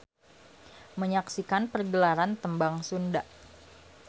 Menyaksikan pergelaran tembang Sunda.